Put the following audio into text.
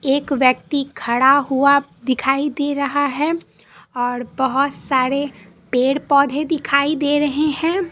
एक व्यक्ति खड़ा हुआ दिखाई दे रहा है और बहोत सारे पेड़ पौधे दिख दे रहें है।